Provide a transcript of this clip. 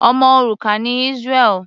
Ọmọ òrukàn ni Israel.